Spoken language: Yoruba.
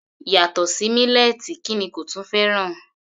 Yàtọ̀ sí mílẹ́ẹ̀tì kí ni kò tún fẹ́ràn?